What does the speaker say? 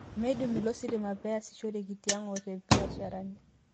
Meidip ilo sitima pee easishoreki tiang' oo to mbiasharani